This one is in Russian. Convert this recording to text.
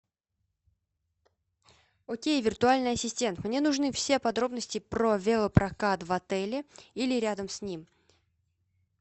окей виртуальный ассистент мне нужны все подробности про велопрокат в отеле или рядом с ним